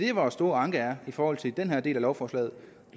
er vores store anke i forhold til den her del af lovforslaget